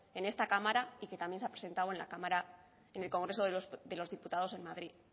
en esta cámara y que también se ha presentado en esta cámara en el congreso de los diputados en madrid